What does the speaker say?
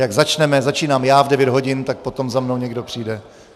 Jak začneme - začínám já v 9 hodin - tak potom za mnou někdo přijde.